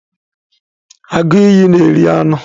Agụ iyi na eri anụ.